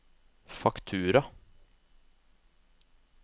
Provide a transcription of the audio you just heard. faktura